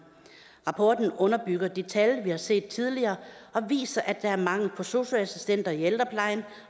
rapporten underbygger de tal vi har set tidligere og viser at der er mangel på sosu assistenter i ældreplejen